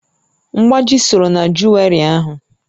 Mgbáji sọrọ na juweri ahu